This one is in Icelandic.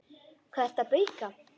Hvað ertu að bauka?